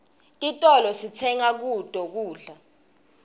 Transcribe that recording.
titolo sitenga kuto kudla